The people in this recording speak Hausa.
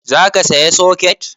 Za ka saya soket?